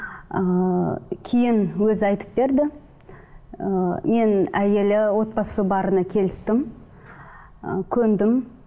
ыыы кейін өзі айтып берді ыыы мен әйелі отбасы барына келістім і көндім